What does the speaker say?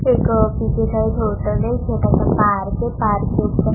एक पीछे side hotel है छोटा सा पार्क है पार्क के उपर--